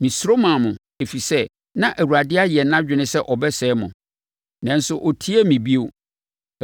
Mesuro maa mo, ɛfiri sɛ, na Awurade ayɛ nʼadwene sɛ ɔbɛsɛe mo. Nanso, ɔtiee me bio.